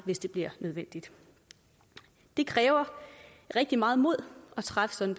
hvis det bliver nødvendigt det kræver rigtig meget mod at træffe sådan